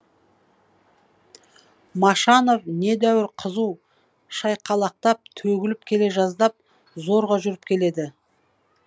машанов недәуір қызу шайқалақтап төгіліп келе жаздап зорға жүріп келеді